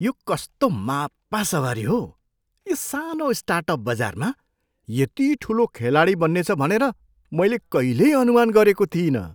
यो कस्तो मापा सवारी हो! यो सानो स्टार्टअप बजारमा यति ठुलो खेलाडी बन्नेछ भनेर मैले कहिल्यै अनुमान गरेको थिइनँ।